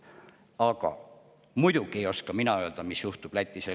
Aga muidugi ei oska mina öelda, mis juhtub Lätis ja Leedus.